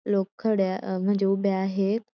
लोक खड्या म्हणजे उभे आहेत.